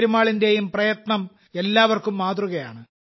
പെരുമാളിന്റെയും പ്രയത്നം എല്ലാവർക്കും മാതൃകയാണ്